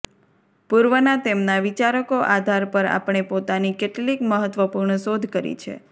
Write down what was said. પૂર્વના તેમના વિચારકો આધાર પર આપણે પોતાની કેટલીક મહત્વપૂર્ણ શોધ કરી છે